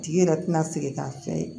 Tigi yɛrɛ tɛna se k'a fɛn ye